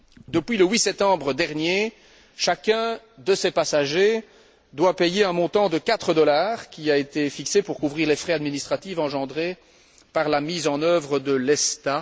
Depuis le 8 septembre dernier, chacun de ces passagers doit payer un montant de 4 dollars qui a été fixé pour couvrir les frais administratifs engendrés par la mise en œuvre de l'ESTA.